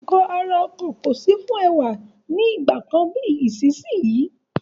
Gbogbo nkan ara ọkọ̀ kò sí fún ẹwà ní ìgbàkan bíi ti ìsinsìnyí.